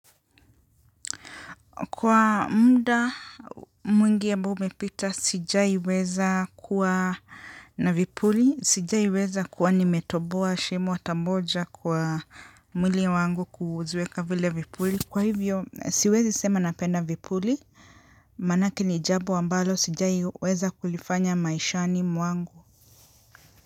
Kwa muda mwingi ambao umepita sijai weza kuwa na vipuli, sijai weza kuwa nimetoboa shimo hata moja kwa mwili wangu kuziweka vile vipuli. Kwa hivyo, siwezi sema napenda vipuli, manake ni jambo ambalo sijai weza kulifanya maishani mwangu.